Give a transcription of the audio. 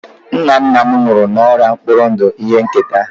nna nna m nwụrụ n'ọrịa mkpụrụ ndụ ihe nketa